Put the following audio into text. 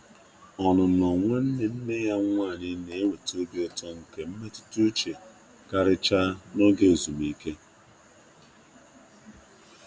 Ọnụnọ nwanne nne ya nwanyi na-eweta obi ụtọ nke mmetụta uche, um karịchaa n'oge ezumike.